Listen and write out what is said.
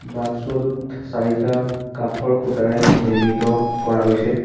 বাটচৰাটোত চাৰিটা কাঠৰ খুঁটাৰে নিৰ্মিত কৰা গৈছে।